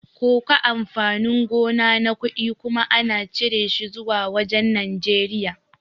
Koko amfani gona na kuɗi kuma ana cire shi zuwa wajan Nijeriya